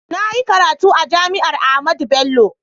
Na yi karatu a JAMI'AR AHMADU BELLO.